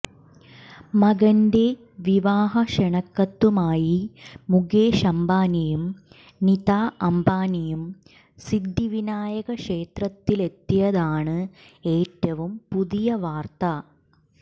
മകന്റെ വിവാഹക്ഷണക്കത്തുമായി മുകേഷ് അംബാനിയും നിത അംബാനിയും സിദ്ധിവിനായകക്ഷേത്രത്തിലെത്തിയതാണ് ഏറ്റവും പുതിയ വാര്ത്ത